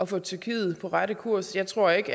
få tyrkiet på rette kurs jeg tror ikke